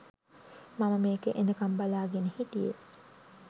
මම මේක එනකම් බලාගෙන හිටියේ